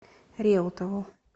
реутову